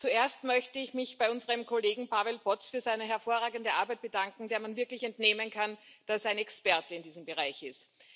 Zuerst möchte ich mich bei unserem Kollegen Pavel Poc für seine hervorragende Arbeit bedanken, der man wirklich entnehmen kann, dass er ein Experte in diesem Bereich ist.